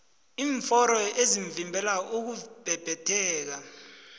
iimforo ezivimbela ukubhebhetheka